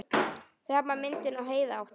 Sama myndin og Heiða átti.